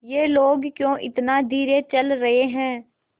ये लोग क्यों इतना धीरे चल रहे हैं